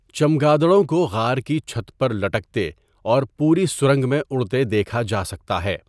چمگادڑوں کو غار کی چھت پر لٹکتے اور پوری سرنگ میں اڑتے دیکھا جا سکتا ہے۔